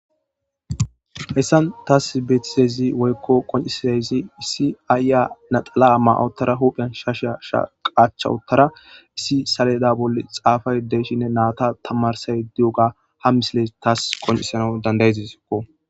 Hessan taas beetisezi woykko qoncisiaezi issi aayya naxala7amma ottara hupheyan shasha shaqaacha uttara issi saleda bolle xaafay deeshinne naata tamarsay di7oga ha misile taas qoncisana dandayezisekko.